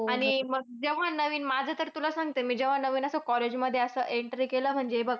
आणि मग जेव्हा नवीन माझा तर तुला सांगते मी जेव्हा असं नवीन college मध्ये असं entry केलं म्हणजे हे बघ